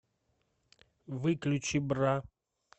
выключи бра